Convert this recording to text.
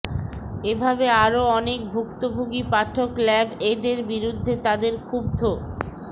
এভাবে আরও অনেক ভুক্তভোগী পাঠক ল্যাবএইডের বিরুদ্ধে তাদের ক্ষুব্ধ